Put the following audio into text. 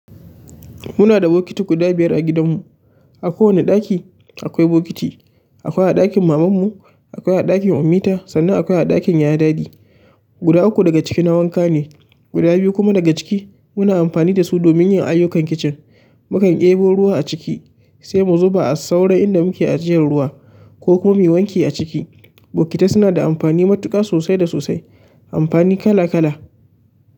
Muna da bokiti guda biyar a gidanmu. A kowane ɗaki akwai bokiti. Akwai a ɗakin mamanmu, akwai a ɗakin Ummita, sannan akwai a ɗakin yaya Daddy. Guda uku daga ciki na wanka ne, guda biyu kuma daga ciki muna amfani da su domin yin ayyukan kicin. Mukan ɗebo ruwa a ciki sai mu zuba a sauran inda muke ajiyar ruwa, ko kuma mu yi wanki a ciki. Bokitai suna da amfani matuƙa sosai da sosai. Amfani kala kala.